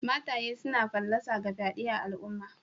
Mataye suna fallasa ga fyade a'alumma.